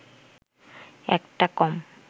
একটা কম